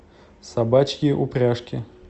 собачьи упряжки